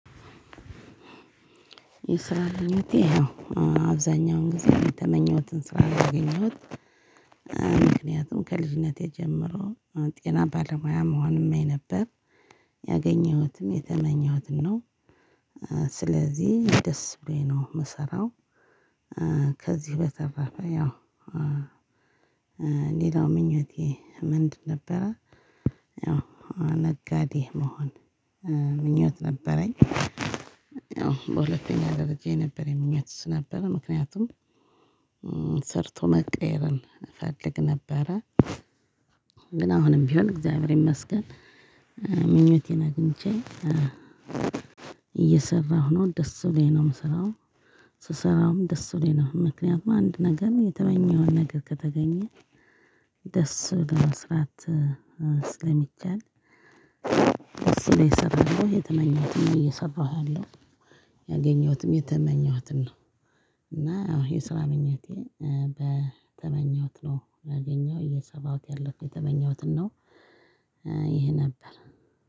የስራ ምኞቴ አብዛኛውን ጊዜ የተመኘሁትን ስራ ነው ያገኘሁት። ምክንያቱም ከልጅነቴ ጀምሮ ጤና ባለሙያ መሆን እመኝ ነበር። ያገኝሁትም የተመኘሁትን ነው። ስለዚህ ደስ ብሎኝ ነው የምሰራው። ከዚህ በተረፈ ያው ሌላው ምኞቴ ምንድን ነበረ? ነጋዴ መሆን ምኞት ነበረኝ። ያው በሁለተኛ ደረጃ የነበረኝ ምኞት እሱ ነበረ። ምክንያቱም ሰርቶ መቀየርን እፈልግ ነበረ። ግን አሁንም ቢሆን እግዚአብሔር ይመስገን! ምኞቴን አግኝቼ እየሰራሁ ነው። ደስ ብሎኝ ነው የምሰራው። ስሰራውም ደስ ብሎኝ ነው። ምክንያቱም አንድ ነገር የተመኘኸውን ነገር ከተገኘ ደስ ብሎ መስራት ስለሚቻል እሱን እየሰራሁ ነው። የተመኘሁትን እየሰራሁ አለው። ያገኘሁትም የተመኘሁትን ነው። እና የስራ ምኞቴ በተመኘሁት ነው ያገኘሁት እየሰራሁት ያለሁት የተመኘሁትን ነው። ይሄ ነበር።